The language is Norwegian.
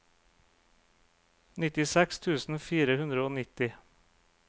nittiseks tusen fire hundre og nitti